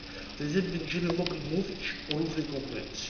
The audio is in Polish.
Wtedy będziemy mogli mówić o równej konkurencji.